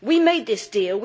We made this deal.